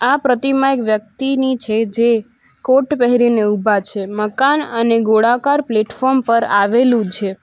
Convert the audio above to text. આ પ્રતિમા એક વ્યક્તિની છે જે કોટ પહેરીને ઊભા છે મકાન અને ગોળાકાર પ્લેટફોર્મ પર આવેલું છે.